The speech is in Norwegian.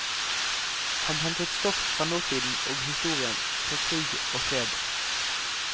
Han hentet stoff fra nåtiden og historien, fra krig og fred.